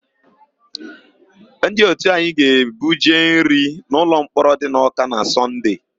Ndị òtù anyị ga-ebuje nri n'ụlọmkpọrọ dị n'Ọ́ká na Sọnde.